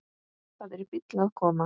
Það er bíll að koma.